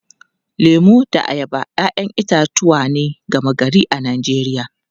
Lemu da ayaba ‘ya’yan itatuwa ne gama-gari a Najeriya.